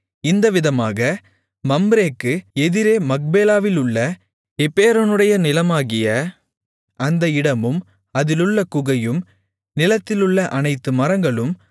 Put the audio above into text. இந்த விதமாக மம்ரேக்கு எதிரே மக்பேலாவிலுள்ள எப்பெரோனுடைய நிலமாகிய அந்த இடமும் அதிலுள்ள குகையும் நிலத்திலுள்ள அனைத்து மரங்களும்